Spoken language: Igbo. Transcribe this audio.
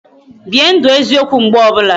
Bie ndụ eziokwu mgbe ọbụla